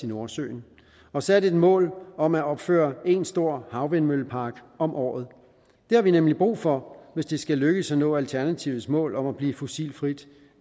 nordsøen og sat et mål om at opføre en stor havvindmøllepark om året det har vi nemlig brug for hvis det skal lykkes at nå alternativets mål om at blive fossilfri